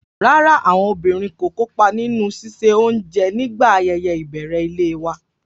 Rárá, àwọn obìnrin kò kópa nínú ṣíṣe oúnjẹ nígbà ayẹyẹ ìbẹ̀rẹ̀ ilé wa.